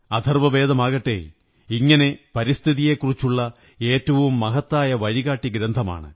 അഥര്വ്വമവേദമാകട്ടെ ഇങ്ങനെ പരിസ്ഥിതിയെക്കുറിച്ചുള്ള ഏറ്റവും മഹത്തായ വഴികാട്ടിഗ്രന്ഥമാണ്